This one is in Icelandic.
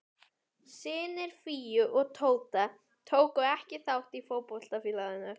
Synir Fíu og Tóta tóku ekki þátt í fótboltafélaginu.